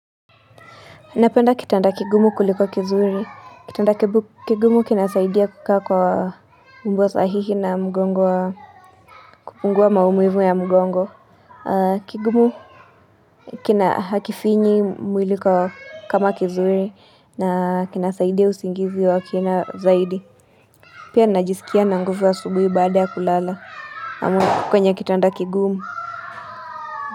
Napenda kitanda kigumu kuliko kizuri. Kitanda kibu kigumu kinasaidia kukaa kwa umbo sahihi na mgongo wa kupungua maumivu ya mgongo. Kigumu kina hakifinyi mwili ko kama kizuri na kinasaidia usingizi wa kina zaidi. Pia najisikia na nguvu asubuhi baada ya kulala. Kwenye kitanda kigumu.